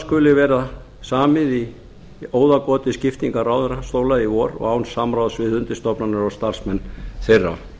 skuli vera samið í óðagoti skiptingar ráðherrastóla í vor og án samráðs við undirstofnanir og starfsmenn þeirra